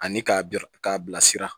Ani k'a bil k'a bilasira